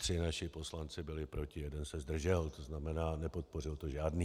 Tři naši poslanci byli proti, jeden se zdržel, to znamená, nepodpořil to žádný.